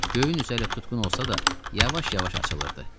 Göyün üzü hütqun olsa da, yavaş-yavaş açılırdı.